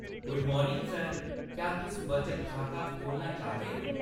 Good morning sir! क्या तुस बचत खाता खोह्‌लना चाह्‌गेओ?